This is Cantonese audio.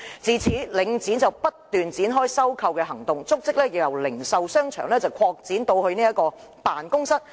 自此，領展不斷展開收購行動，足跡由零售商場擴展至辦公室。